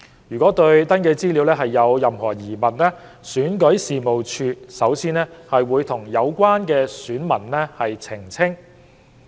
如對登記資料有任何疑問，選舉事務處首先會與有關選民澄清。